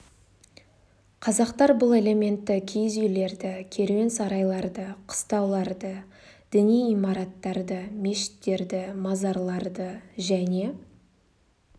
қазақтар бұл элементті киіз үйлерді керуен сарайларды қыстауларды діни имараттарды мешіттерді мазарларды және